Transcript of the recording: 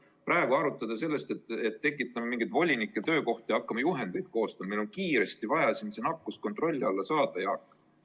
Praegu arutada seda, et tekitame mingeid volinike töökohti ja hakkame juhendeid koostama – meil on kiiresti vaja see nakkus kontrolli alla saada, Jaak!